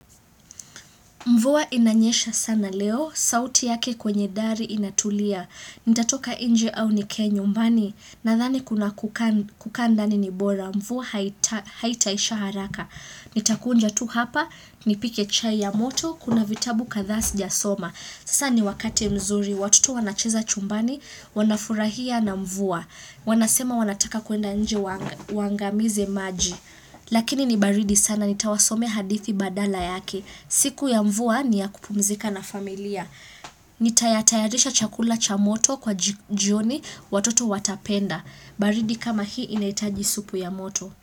Mvua inanyesha sana leo, sauti yake kwenye dari inatulia. Nitatoka nje au nike nyumbani? Nadhani kuna kaa kukaa ndani nibora, mvua haitaisha haraka. Nitakuja tu hapa, nipike chai ya moto, kuna vitabu kadhaa si jasoma. Sasa niwakati mzuri, watoto wanacheza chumbani, wanafurahia na mvua. Wanasema wanataka kuenda nje wangaamize maji. Lakini nibaridi sana, nitawasomea hadithi badala yake. Mvua ni ya kupumzika na familia. Nitayatayarisha chakula cha moto kwa jioni watoto watapenda. Baridi kama hii inahitaji supu ya moto.